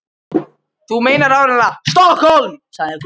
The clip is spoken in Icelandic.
Þú meinar áreiðanlega STOKKHÓLM, sagði Gunni.